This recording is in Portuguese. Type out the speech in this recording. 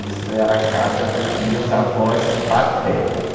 Isso era a casa dos meus avós paternos.